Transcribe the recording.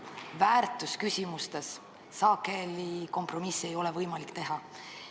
Aga väärtusküsimustes sageli kompromissile minna võimalik ei ole.